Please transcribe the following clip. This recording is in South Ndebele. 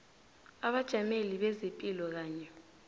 abajameli bezepilo kanye